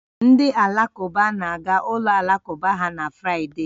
Ndị Alakụba na-aga ụlọ alakụba ha na Fraịde